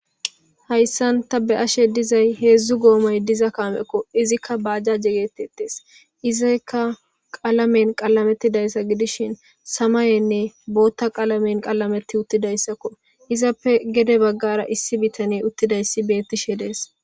Hayssan ta be'ashe dizay heezzu goomoy diza kaamekko .Izikka baajjaje geetetees. Izayikka qalamen qalamettida issa gidishin samayenne booththa qalamen qalametti uttidayssakko. Izappe gede baggara issi bitani uttida issi beettishe dees.